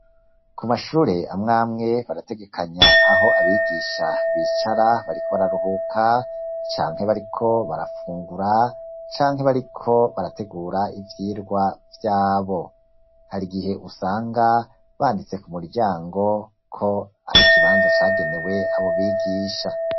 Ku mashure amw'amwe barategekanya aho abigisha bicara bariko bararuhuka canke bariko barafungura canke bariko barategura ivyirwa vyabo ,hari igihe usanga banditse ku muryango ko ari ikibanza cagenewe abo bigisha.